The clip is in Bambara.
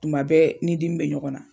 Tuma bɛ ni dimi bɛ ɲɔgɔn na.